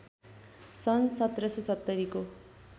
सन् १७७० को